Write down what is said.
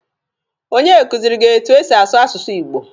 Onye kuziri gị etu e si asụ asụsụ Igbo?